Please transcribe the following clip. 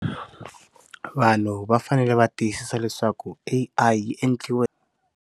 Vanhu va fanele va tiyisisa leswaku i i endliwe.